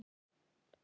BOGGA: Sumir á sjó!